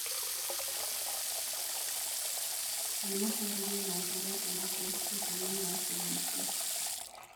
ni matarirĩo maũhoro urĩku sesheni ini ya K.B.C